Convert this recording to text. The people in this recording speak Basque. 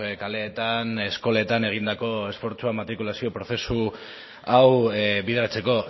kaleetan eskoletan egindako esfortzua matrikulazio prozesu hau bideratzeko